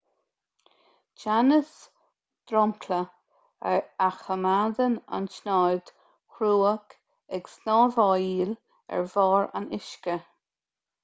teannas dromchla a choimeádann an tsnáthaid chruach ag snámhaíl ar bharr an uisce